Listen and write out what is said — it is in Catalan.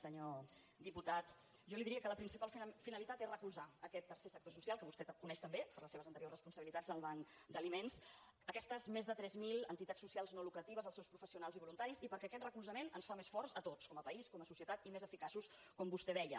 senyor diputat jo li diria que la principal finalitat és recolzar aquest tercer sector social que vostè coneix tan bé per les seves anteriors responsabilitats al banc d’aliments aquestes més de tres mil entitats socials no lucratives els seus professionals i voluntaris i perquè aquest recolzament ens fa més forts a tots com a país com a societat i més eficaços com vostè deia